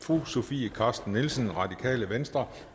fru sofie carsten nielsen radikale venstre